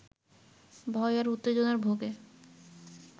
ভয় আর উত্তেজনার ভোগে